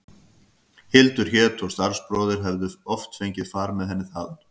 Hildur hét og starfsbróðir hefði oft fengið far með henni þaðan.